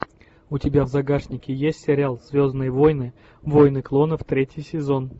у тебя в загашнике есть сериал звездные войны войны клонов третий сезон